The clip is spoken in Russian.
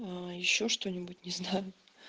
ещё что-нибудь не знаю